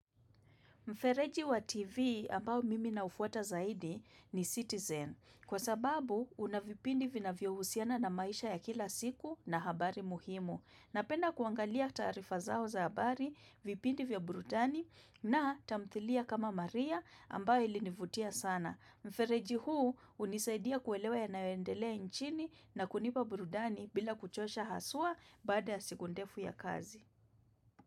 Mfereji wa TV ambao mimi naufuata zaidi ni citizen. Kwa sababu, una vipindi vinavyohusiana na maisha ya kila siku na habari muhimu. Napenda kuangalia taarifa zao za habari, vipindi vya brudani na tamthilia kama maria ambayo ilinivutia sana. Mfereji huu hunisaidia kuelewa yanayoendelea nchini na kunipa burudani bila kuchosha haswa baada ya siku ndefu ya kazi.